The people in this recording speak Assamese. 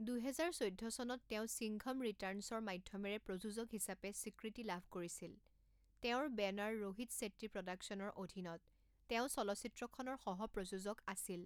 দুহেজাৰ চৈধ্য চনত তেওঁ সিংঘম ৰিটাৰ্নছৰ মাধ্যমেৰে প্ৰযোজক হিচাপে স্বীকৃতি লাভ কৰিছিল তেওঁৰ বেনাৰ ৰোহিত ছেট্টী প্ৰডাকচনৰ অধীনত তেওঁ চলচ্চিত্ৰখনৰ সহ প্ৰযোজক আছিল।